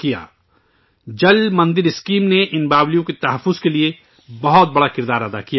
ان کنوؤں یا باولیوں کے تحفظ کے لئے ' جل مندر یوجنا ' نے بہت بڑا کردار ادا کیا ہے